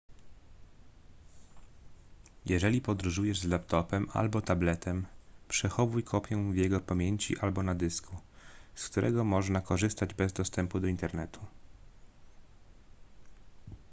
jeżeli podróżujesz z laptopem albo tabletem przechowuj kopię w jego pamięci albo na dysku z którego można korzystać bez dostępu do internetu